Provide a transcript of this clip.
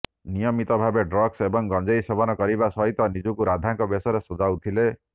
ନିୟମିତ ଭାବରେ ଡ୍ରଗ୍ସ ଏବଂ ଗଞ୍ଜେଇ ସେବନ କରିବା ସହିତ ନିଜକୁ ରାଧାଙ୍କ ବେଶରେ ସଜାଉଥିଲେ